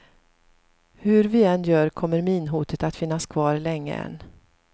Hur vi än gör kommer minhotet att finnas kvar länge än.